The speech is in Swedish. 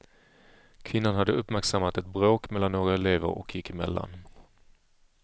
Kvinnan hade uppmärksammat ett bråk mellan några elever och gick emellan.